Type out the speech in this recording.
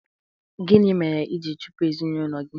Gịnị mere i ji chụpụ ezinụlọ gị?